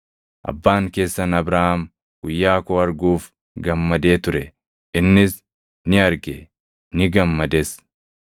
Abbaan keessan Abrahaam guyyaa koo arguuf gammadee ture; innis ni arge; ni gammades.”